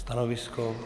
Stanovisko?